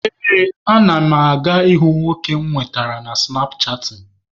Ee, ana m aga ịhụ nwoke mụ nwetara na sụnapchaatịn.